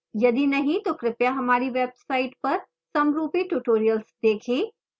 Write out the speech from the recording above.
यदि नहीं तो कृपया हमारी website पर समरूपी tutorials देखें